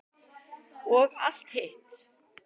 Og allt hitt.